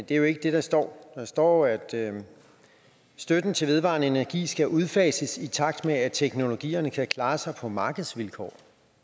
det er jo ikke det der står der står at støtten til vedvarende energi skal udfases i takt med at teknologierne kan klare sig på markedsvilkår